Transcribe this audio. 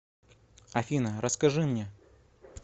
афина расскажи мне